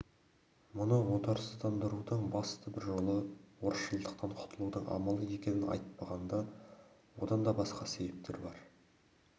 мұны отарсызданудың басты бір жолы орысшылдықтан құтылудың амалы екенін айтпағанда одан да басқа себептер бар